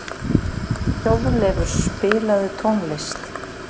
Þjóðleifur, spilaðu tónlist.